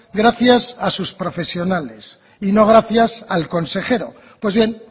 gracias a sus profesionales y no gracias al consejero pues bien